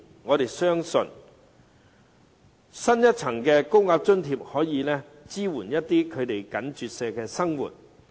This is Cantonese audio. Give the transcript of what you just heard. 我們相信，增設一層高額津貼可以支援他們緊絀的生活。